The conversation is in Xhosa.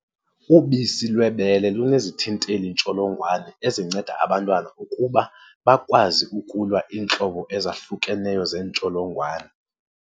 Ubisi lwebele lunezithinteli-ntsholongwane ezinceda abantwana ukuba bakwazi ukulwa iintlobo ezahlukeneyo zeentsholongwane.